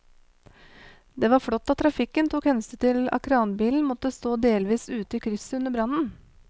Det var flott at trafikken tok hensyn til at kranbilen måtte stå delvis ute i krysset under brannen.